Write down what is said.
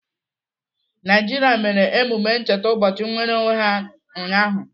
Naijiria mere emume ncheta ụbọchị nnwereonwe ha ụnyaahụ.